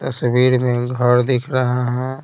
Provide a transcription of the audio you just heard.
तस्वीर में घर दिख रहा है।